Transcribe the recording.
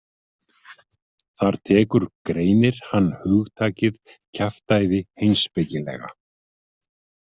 Þar tekur greinir hann hugtakið kjaftæði heimspekilega.